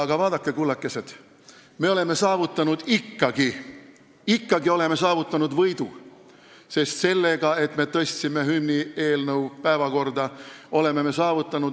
Aga vaadake, kullakesed, me oleme ikkagi saavutanud võidu, sest me tõstsime hümnieelnõu päevakorrale.